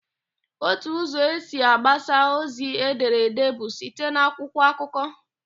Ótù ụzọ esi agbasa ozi edere èdé bụ site n'akwụkwọ akụkọ.